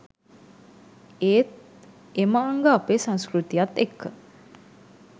ඒත් එම අංග අපේ සංස්කෘතියත් එක්ක